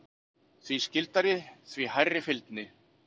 Því skyldari, því hærri fylgni.